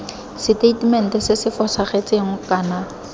seteitemente se se fosagetseng kana